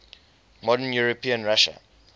modern european russia